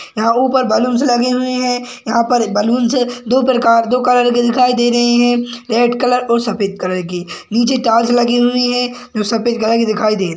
यहाँ ऊपर बैलून्स लगे हुए है यहाँ पर बैलून्स के दो प्रकार दो कलर के दिखाई दे रहे है रेड कलर और सफ़ेद कलर के नीचे टाइल्स लगी हुई है जो सफ़ेद कलर कि दिखाई दे रही है।